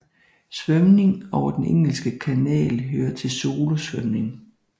Svømning over Den Engelske Kanal hører til solosvømning